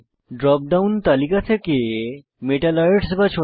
drop down তালিকায় টিপে metalloids বাছুন